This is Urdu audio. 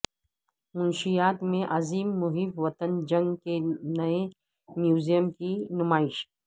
منشیات میں عظیم محب وطن جنگ کے نئے میوزیم کی نمائش